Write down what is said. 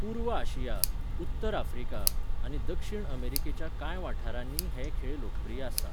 पूर्व आशिया, उत्तर आफ्रिका आनी दक्षिण अमेरिकेच्या कांय वाठारांनीय हे खेळ लोकप्रिय आसात.